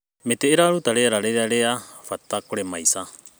Mĩtĩ ĩraruta rĩera rĩrĩa nĩ rĩa bata kũrĩ maica.